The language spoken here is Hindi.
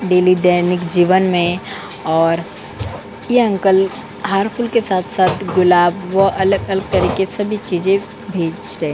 डेली दैनिक जीवन में और ये अंकल हार-फूल के साथ-साथ गुलाब व अलग तरीके से चीजे भेजते हैं।